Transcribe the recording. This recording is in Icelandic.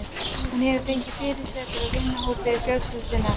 Hún hefur fengið fyrirsætur úr vinahópi fjölskyldunnar.